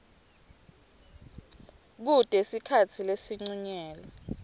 kute sikhatsi lesincunyelwe